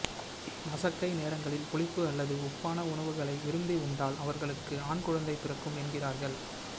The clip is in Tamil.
மசக்கை நேரங்களில் புளிப்பு அல்லது உப்பான உணவுகளை விரும்பி உண்டால் அவர்களுக்கு ஆண் குழந்தை பிறக்கும் என்கிறார்கள்